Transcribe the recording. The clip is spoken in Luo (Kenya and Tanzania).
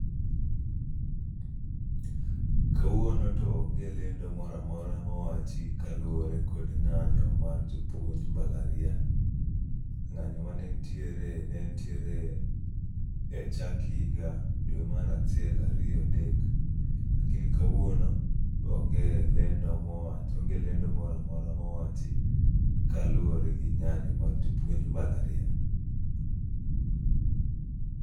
Kawuono to onge lendo moramora mowachi kaluwore kod ng'anyo mar jopuonj mbalariany. Ng'anyo mane ntiere, ne ntiere e chak higa dwe mar achiel ariyo adek. Lakini kawuono onge lendo mowach, onge lendo moramora mowachi kaluwore gi ng'anyo mar joupunj mbalariany.